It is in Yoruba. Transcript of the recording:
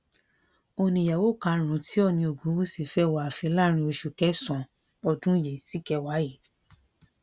òun ni ìyàwó karùn-ún tí òòní ogunwúsì fẹ́ wọ ààfin láàrin oṣù kẹsàn-án ọdún yìí síkẹwàá yìí